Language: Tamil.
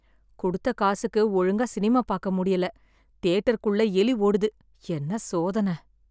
குடுத்த காசுக்கு ஒழுங்கா சினிமா பாக்க முடியல, தியேட்டர் குள்ள எலி ஓடுது, என்ன சோதன.